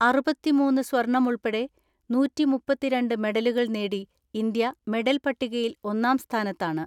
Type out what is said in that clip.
അറുപത്തിമൂന്ന് സ്വർണമുൾപ്പെടെ നൂറ്റിമുപ്പത്തിരണ്ട് മെഡലുകൾ നേടി ഇന്ത്യ മെഡൽ പട്ടികയിൽ ഒന്നാം സ്ഥാനത്താണ്.